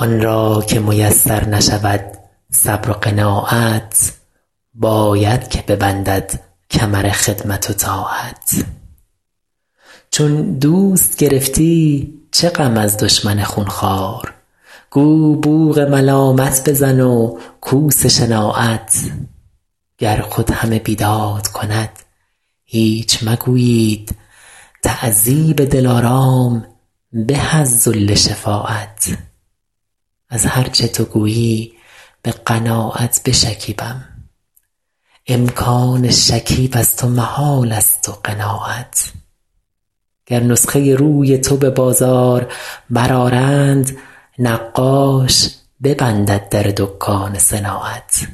آن را که میسر نشود صبر و قناعت باید که ببندد کمر خدمت و طاعت چون دوست گرفتی چه غم از دشمن خونخوار گو بوق ملامت بزن و کوس شناعت گر خود همه بیداد کند هیچ مگویید تعذیب دلارام به از ذل شفاعت از هر چه تو گویی به قناعت بشکیبم امکان شکیب از تو محالست و قناعت گر نسخه روی تو به بازار برآرند نقاش ببندد در دکان صناعت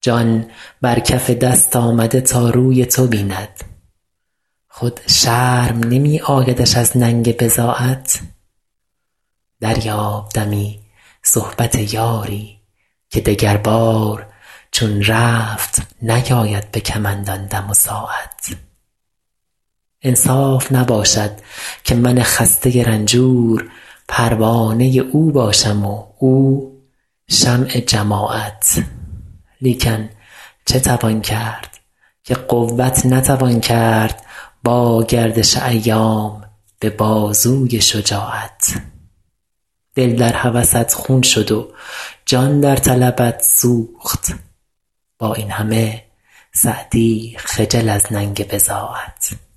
جان بر کف دست آمده تا روی تو بیند خود شرم نمی آیدش از ننگ بضاعت دریاب دمی صحبت یاری که دگربار چون رفت نیاید به کمند آن دم و ساعت انصاف نباشد که من خسته رنجور پروانه او باشم و او شمع جماعت لیکن چه توان کرد که قوت نتوان کرد با گردش ایام به بازوی شجاعت دل در هوست خون شد و جان در طلبت سوخت با این همه سعدی خجل از ننگ بضاعت